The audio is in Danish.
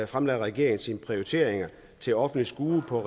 fremlagde regeringen sine prioriteringer til offentligt skue på